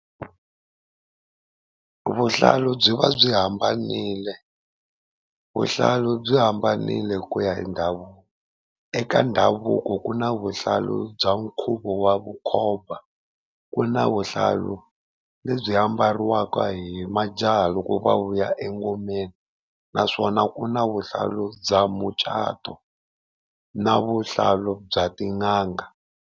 Vuhlalu byi va byi hambanile. Vuhlalu byi hambanile ku ya hi ndhavuko, eka ndhavuko ku na vuhlalu bya nkhuvo wa vukhomba, ku na vuhlalu lebyi ambariwaka hi majaha loko va vuya engomeni, naswona ku na vuhlalu bya mucato na vuhlalu bya tin'anga.